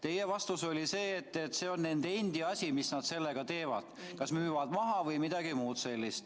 Teie vastus oli, et see on nende asi, mis nad sellega teevad – kas müüvad maha või midagi muud.